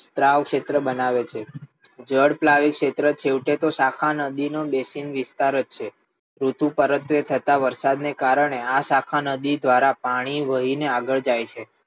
સ્ત્રાવ ક્ષેત્ર બનાવે છે જળ ઉપલાદિત ક્ષેત્ર એક યોગ્ય નદીનો શાખાહિત વિસ્તાર જ છે વરસાદ થતા વરસાદના કારણે આ શાખા નદી દ્વારા પાણી વહીને આગળ જાય છે.